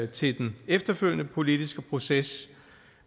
til den efterfølgende politiske proces